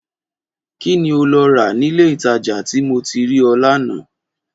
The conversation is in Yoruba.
Kí ni o lọ rà nílé-ìtajà tí mo ti rí ọ lánàá?